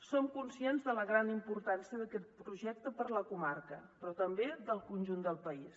som conscients de la gran importància d’aquest projecte per a la comarca però també per al conjunt del país